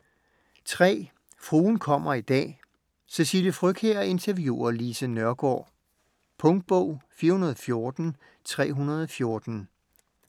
Fruen kommer i dag: Cecilie Frøkjær interviewer Lise Nørgaard Punktbog 414314